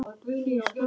Ég svara engu.